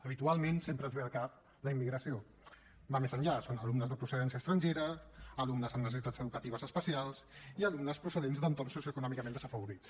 habitualment sempre ens ve al cap la immigració va més enllà són alumnes de procedència estrangera alumnes amb necessitats educatives especials i alumnes procedents d’entorns socioeconòmicament desafavorits